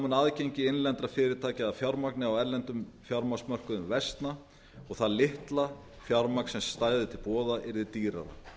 mun aðgengi innlendra fyrirtækja að fjármagni á erlendum fjármagnsmörkuðum versna og það litla fjármagn sem stæði til boða yrði dýrara